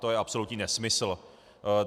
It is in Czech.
To je absolutní nesmysl.